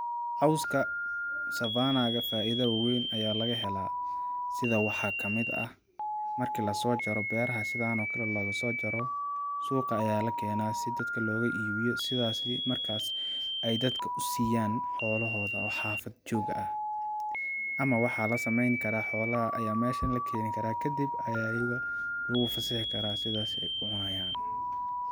cawska savannah ga faida weyn ayaa laga hela sida waxaa kamid ah markii lasoo jaro beraha sidaan oo kale logasoo jaro suqa ayaa lakena si dadka looga iibiyo sidaas markaas ay dadka u siiyan xoolahooda oo xafad joog ah, ama waxaa lasameeni karaa xoolaha ayaa meshan lakeeni karaa kadib ayaa iyaga lagu fasixikaraa sidaas ayay kucunayaan